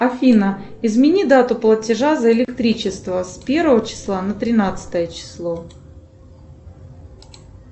афина измени дату платежа за электричество с первого числа на тринадцатое число